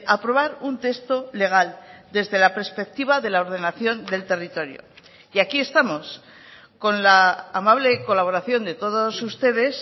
aprobar un texto legal desde la perspectiva de la ordenación del territorio y aquí estamos con la amable colaboración de todos ustedes